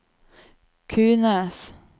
Kunes